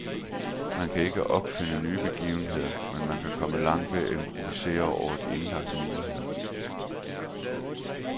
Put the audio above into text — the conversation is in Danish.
Man kan ikke opfinde nye begivenheder, men man kan komme langt ved at improvisere over de indlagte muligheder.